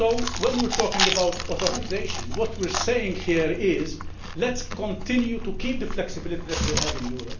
When we talk about authorisation, what we are saying here is let us continue to keep the flexibility that we have in Europe